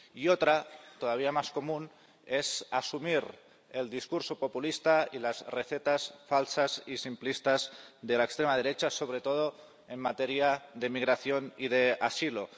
Y otra, todavía más común, es asumir el discurso populista y las recetas falsas y simplistas de la extrema derecha, sobre todo en materia de migración y de asilo.